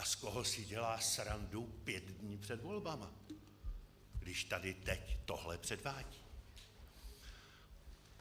A z koho si dělá srandu pět dní před volbami, když tady teď tohle předvádí?